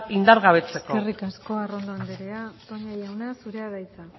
indargabetzeko eskerrik asko arrondo andrea toña jauna zurea da hitza